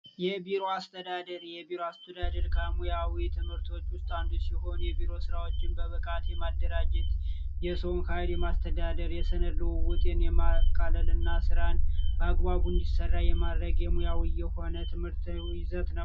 የቢሮ አስተዳደር የቢሮ አስተዳደር ከሙያዊ ትምህርቶች ውስጥ አንዱ ሲሆን የቢሮ እቃዎችን በብቃት ለማደራጀት ፣የሰው ሀይል ለማስተዳደር፣ የሰነድ ልውውጥን ለማቃለል እና ስራን በአግባቡ እንዲሰራ የማድረግ የሙያዊ ይዘት ነው።